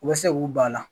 U bɛ se k'u ban a la